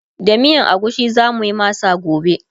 da miyan agushi zamuyi masa gobe